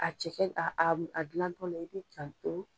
A cɛkɛ a a dilantɔla i bi'i janto.